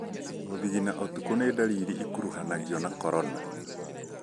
Gũthithina ũtukũ nĩ ndariri ĩkuruhanagio na corona.